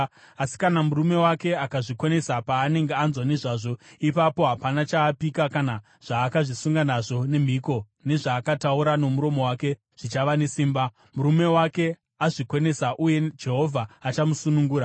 Asi kana murume wake akazvikonesa paanenge anzwa nezvazvo, ipapo hapana chaakapika kana zvaakazvisunga nazvo nemhiko nezvaakataura nomuromo wake zvichava nesimba. Murume wake azvikonesa, uye Jehovha achamusunungura.